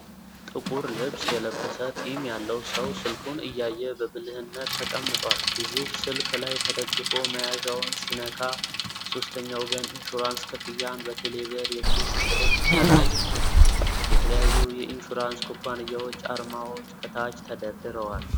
ጥቁር ልብስ የለበሰ ጢም ያለው ሰው ስልኩን እያየ በብልህነት ተቀምጧል። ግዙፍ ስልክ ላይ ተደግፎ መያዣውን ሲነካ፣ "የሶስተኛ ወገን ኢንሹራንስ ክፍያዎን በቴሌብር!" የሚል መልዕክት ከላይ ይታያል። የተለያዩ የኢንሹራንስ ኩባንያዎች አርማዎች ከታች ተደርድረዋል።